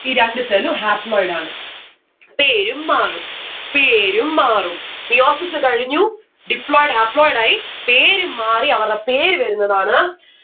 ഈ രണ്ട്‌ cell ഉ haploid ആണ്. പേരും മാറും പേരും മാറും. meiosis കഴിഞ്ഞു deployed haploid ആയി പേരും മാറി അവര പേര് വരുന്നതാണ്